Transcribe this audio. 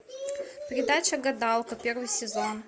передача гадалка первый сезон